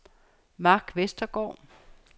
Mark Vestergaard